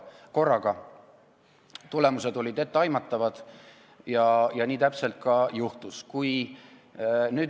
Tagajärjed olid etteaimatavad, nii täpselt juhtuski.